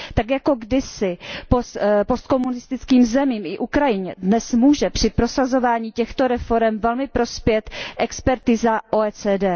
Tak jako kdysi postkomunistickým zemím i Ukrajině dnes může při prosazování těchto reforem velmi prospět expertíza OECD.